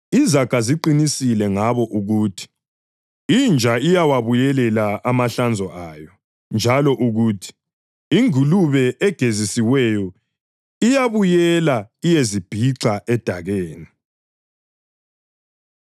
Izaga ziqinisile ngabo ukuthi: “Inja iyawabuyelela amahlanzo ayo,” + 2.22 Izaga 26.11 njalo ukuthi, “Ingulube egezisiweyo iyabuyela iyezibhixa edakeni.”